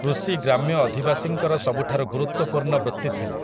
କୃଷି ଗ୍ରାମ୍ୟ ଅଧିବାସୀଙ୍କର ସବୁଠାରୁ ଗୁରୁତ୍ୱପୂର୍ଣ୍ଣ ବୃତ୍ତି ଥିଲା ।